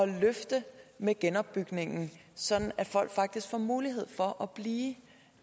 løft med genopbygning så folk faktisk får mulighed for at blive